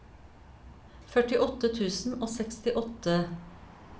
førtiåtte tusen og sekstiåtte